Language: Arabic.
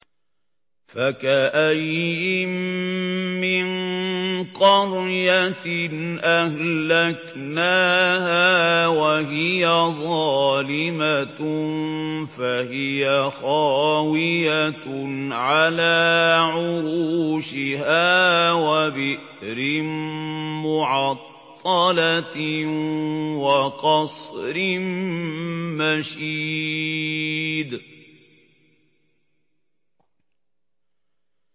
فَكَأَيِّن مِّن قَرْيَةٍ أَهْلَكْنَاهَا وَهِيَ ظَالِمَةٌ فَهِيَ خَاوِيَةٌ عَلَىٰ عُرُوشِهَا وَبِئْرٍ مُّعَطَّلَةٍ وَقَصْرٍ مَّشِيدٍ